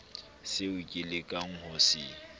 seo ke lekang ho se